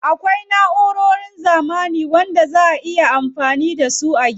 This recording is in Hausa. Akwai na'urorin zamani na gashi wanda zaa a iya amfani da su a cikin gida.